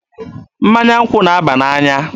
Mmanya nkwụ na-aba n'anya.